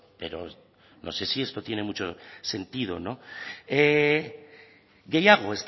pero no sé si esto tiene mucho sentido no gehiago